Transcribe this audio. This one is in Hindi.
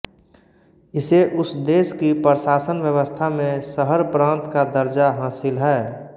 इसे उस देश की प्रशासनव्यवस्था में शहरप्रान्त का दर्जा हासिल है